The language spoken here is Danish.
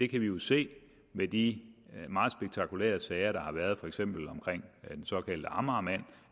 kan jo se i de meget spektakulære sager der har været for eksempel om den såkaldte amagermand